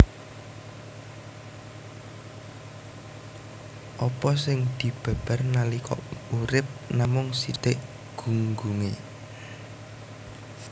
Apa sing dibabar nalika urip namung sithik gunggungé